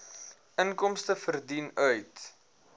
inkomste verdien uit